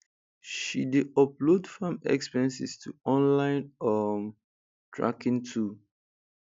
she dey upload farm expenses to online um tracking tool